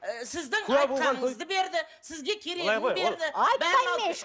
ы сіздің айтқаныңызды берді сізге керегін берді айтпаймын мен